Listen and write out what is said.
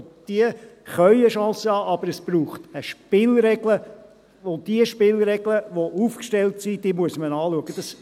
Und diese können eine Chance haben, aber es braucht eine Spielregel, und die Spielregeln, die aufgestellt sind, muss man anschauen.